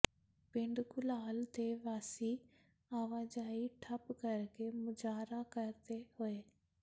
ਪਿੰਡ ਘੁਲਾਲ ਦੇ ਵਾਸੀ ਆਵਾਜਾਈ ਠੱਪ ਕਰਕੇ ਮੁਜ਼ਾਹਰਾ ਕਰਦੇ ਹੋਏ